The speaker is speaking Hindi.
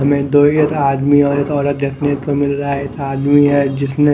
हमें दो या एक आदमी और एक औरत देखने को मिल रहा है एक आदमी है जिसने--